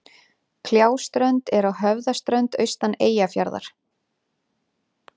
Kljáströnd er á Höfðaströnd austan Eyjafjarðar.